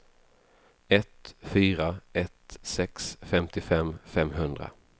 ett fyra ett sex femtiofem femhundra